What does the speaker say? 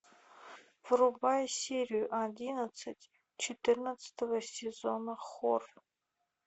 врубай серию одиннадцать четырнадцатого сезона хор